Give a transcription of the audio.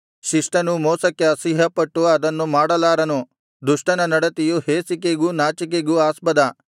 ಶಿಷ್ಟನು ಮೋಸಕ್ಕೆ ಅಸಹ್ಯಪಟ್ಟು ಅದನ್ನು ಮಾಡಲಾರನು ದುಷ್ಟನ ನಡತೆಯು ಹೇಸಿಕೆಗೂ ನಾಚಿಕೆಗೂ ಆಸ್ಪದ